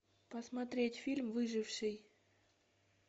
посмотреть фильм выживший